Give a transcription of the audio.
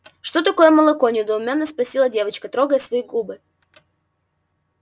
что такое молоко недоуменно спросила девочка трогая свои губы